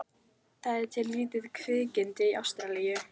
Það er til lítið kvikindi í Ástralíu.